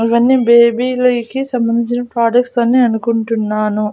అవన్నీ బేబీలైకి సంబంధించిన ప్రొడక్ట్స్ అని అనుకుంటున్నాను.